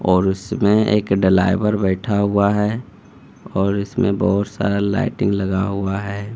और उसमें एक ड्राइवर बैठा हुआ है और इसमें बहुत सारा लाइटिंग लगा हुआ है।